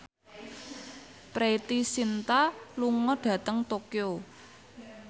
Preity Zinta lunga dhateng Tokyo